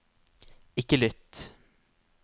ikke lytt